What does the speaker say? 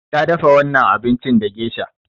Ta dafa wannan abincin da gesha.